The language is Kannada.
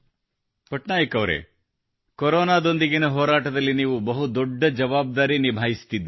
ಪಟ್ನಾಯಕ್ ಅವರೆ ಕೊರೋನಾದೊಂದಿಗಿನ ಹೋರಾಟದಲ್ಲಿ ನೀವು ಬಹು ದೊಡ್ಡ ಜವಾಬ್ದಾರಿ ನಿಭಾಯಿಸುತ್ತಿದ್ದೀರಿ